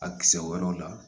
A kisɛ o yɔrɔ la